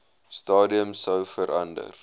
stadium sou verander